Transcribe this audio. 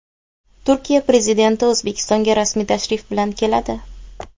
Turkiya prezidenti O‘zbekistonga rasmiy tashrif bilan keladi.